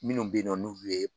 Minnu bɛ ye nɔ ni ulu ye